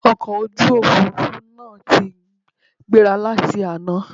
Ọkọ̀ ojú òfurufú náà ti gbéra láti àná